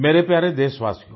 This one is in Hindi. मेरे प्यारे देशवासियो